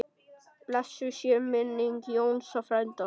Blessuð sé minning Jónsa frænda.